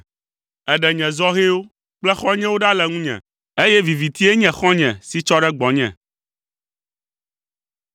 Èɖe nye zɔhɛwo kple xɔ̃nyewo ɖa le ŋunye, eye vivitie nye xɔ̃nye si tsɔ ɖe gbɔnye.